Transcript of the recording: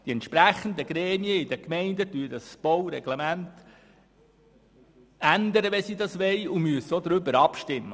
Die entsprechenden Gremien der Gemeinden ändern das Baureglement, wenn sie das wollen, und darüber müssen sie auch abstimmen.